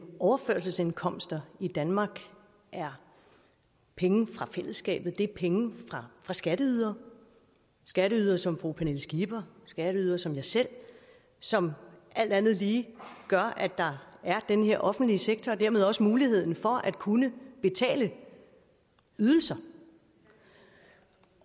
overførselsindkomster i danmark er penge fra fællesskabet det er penge fra skatteydere skatteydere som fru pernille skipper skatteydere som mig selv som alt andet lige gør at der er den her offentlige sektor og dermed også muligheden for at kunne betale ydelser